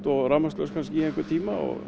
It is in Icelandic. og rafmagnslaust kannski í einhvern tíma og